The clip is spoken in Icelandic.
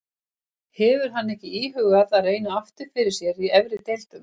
Hefur hann ekki íhugað að reyna aftur fyrir sér í efri deildum?